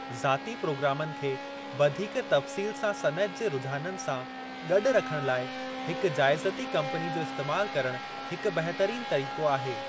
ज़ाती प्रोग्रामनि खे वधीक तफ़्सील सां सनइत जे रूझाननि सां गॾु रखणु लाइ हिक जाइज़ती कम्पनी जो इस्तेमाल करणु हिक बहितरीन तरीक़ो आहे।